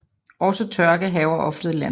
Også tørke hærger oftere i landet